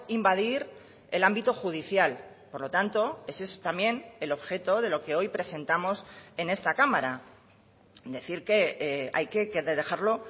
invadir el ámbito judicial por lo tanto ese es también el objeto de lo que hoy presentamos en esta cámara decir que hay que dejarlo